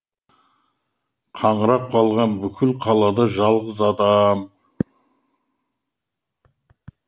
қаңырап қалған бүкіл қалада жалғыз адам